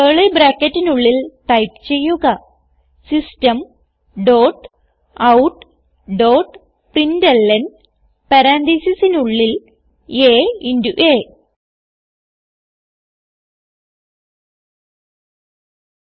curly ബ്രാക്കറ്റിനുള്ളിൽ type ചെയ്യുക system dot out dot println പരാൻതീസിസിനുള്ളിൽ a ഇന്റോ അ